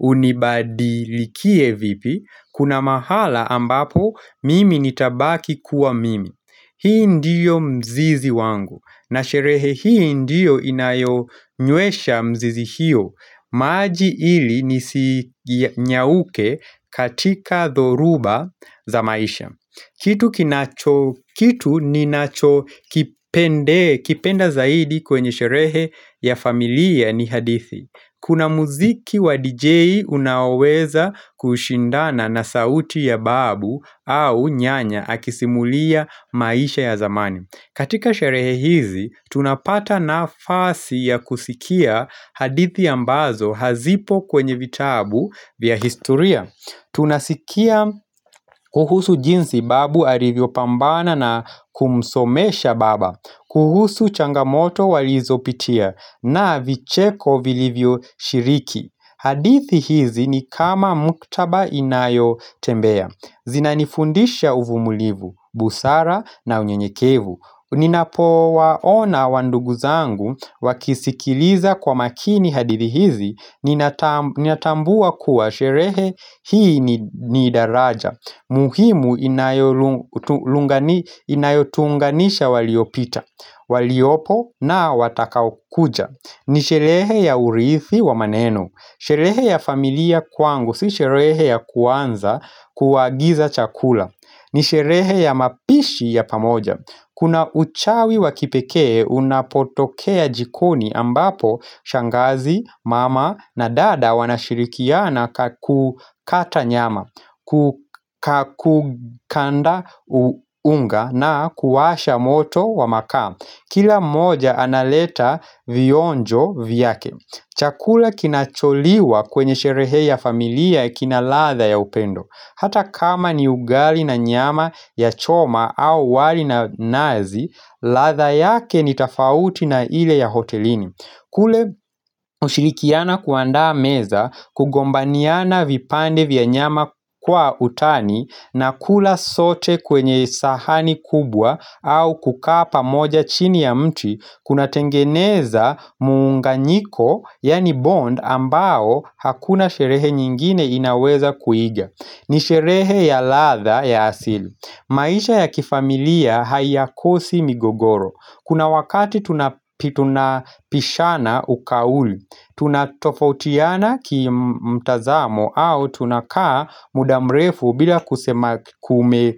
unibadilikie vipi Kuna mahala ambapo mimi nitabaki kuwa mimi Hii ndiyo mzizi wangu na sherehe hii ndiyo inayo nywesha mzizi hiyo maji hili nisi nyauke katika thoruba za maisha Kitu kinacho kitu ninacho kipende kipenda zaidi kwenye sherehe ya familia ni hadithi Kuna muziki wa DJ unaweza kushindana na sauti ya babu au nyanya akisimulia maisha ya zamani katika sherehe hizi, tunapata na fasi ya kusikia hadithi ambazo hazipo kwenye vitabu vya historia. Tunasikia kuhusu jinsi babu arivyo pambana na kumsomesha baba, kuhusu changamoto walizo pitia na vicheko vilivyo shiriki. Hadithi hizi ni kama muktaba inayo tembea zina nifundisha uvumilivu, busara na unyenyekevu Ninapo waona wandugu zangu wakisikiliza kwa makini hadithi hizi Ninatambua kuwa sherehe hii ni daraja muhimu inayo tuunganisha waliopita waliopo na watakao kuja Nisherehe ya uriithi wa maneno Sherehe ya familia kwangu, si sherehe ya kuanza kuagiza chakula ni sherehe ya mapishi ya pamoja Kuna uchawi wakipekee unapotokea jikoni ambapo Shangazi, mama na dada wanashirikiana kakukata nyama Kukanda uunga na kuwasha moto wa makaa Kila mmoja analeta vionjo vyake Chakula kinacholiwa kwenye sherehe ya familia kina ladha ya upendo Hata kama ni ugali na nyama ya choma au wali na nazi ladha yake ni tofauti na ile ya hotelini kule ushilikiana kuandaa meza kugombaniana vipande vya nyama kwa utani na kula sote kwenye sahani kubwa au kukaa pa moja chini ya mti Kuna tengeneza munganyiko, yani bond, ambao hakuna sherehe nyingine inaweza kuiga ni sherehe ya ladha ya asili maisha ya kifamilia haiyakosi migogoro Kuna wakati tunapishana ukauli Tunatofautiana ki mtazamo au tunakaa mudamrefu bila kusema kume.